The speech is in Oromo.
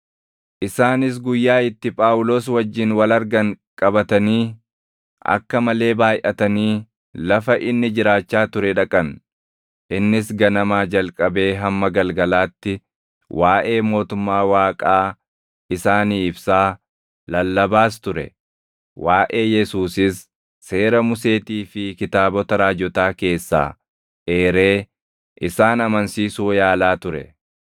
Isaanis guyyaa itti Phaawulos wajjin wal argan qabatanii, akka malee baayʼatanii lafa inni jiraachaa ture dhaqan; innis ganamaa jalqabee hamma galgalaatti waaʼee mootummaa Waaqaa isaanii ibsaa, lallabaas ture; waaʼee Yesuusiis Seera Museetii fi Kitaabota Raajotaa keessaa eeree isaan amansiisuu yaalaa ture.